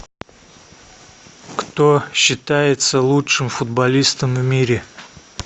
кто считается лучшим футболистом в мире